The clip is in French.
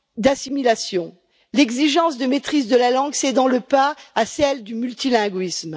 d'assimilation, l'exigence de maîtrise de la langue cédant le pas à celle du multilinguisme.